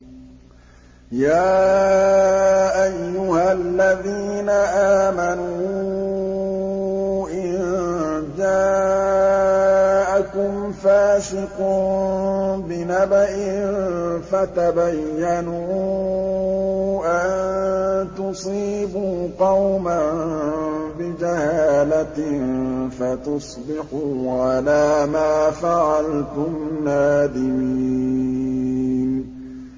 يَا أَيُّهَا الَّذِينَ آمَنُوا إِن جَاءَكُمْ فَاسِقٌ بِنَبَإٍ فَتَبَيَّنُوا أَن تُصِيبُوا قَوْمًا بِجَهَالَةٍ فَتُصْبِحُوا عَلَىٰ مَا فَعَلْتُمْ نَادِمِينَ